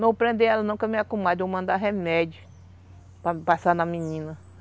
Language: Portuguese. Não prender ela não, porque é minha comadre. Vou mandar remédio para passar na menina.